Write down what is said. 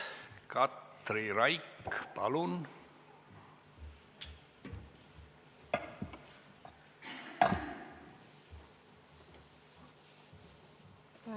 Katri Raik, palun!